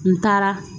N taara